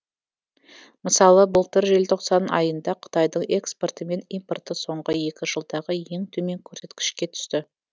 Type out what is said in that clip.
мысалы былтыр желтоқсан айында қытайдың экспорты мен импорты соңғы екі жылдағы ең төмен көрсеткішке түсті